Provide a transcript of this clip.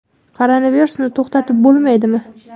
Koronavirusni to‘xtatib bo‘lmaydimi?